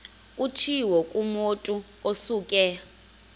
kutshiwo kumotu osuke